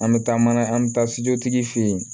An bɛ taa mana an bɛ taa tigi fɛ yen